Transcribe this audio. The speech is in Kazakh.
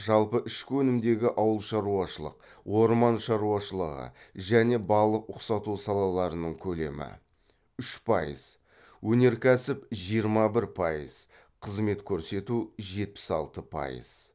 жалпы ішкі өнімдегі ауылшаруашылық орман шаруашылығы және балық ұқсату салаларының көлемі үш пайыз өнеркәсіп жиырма бір пайыз қызмет көрсету жетпіс алты пайыз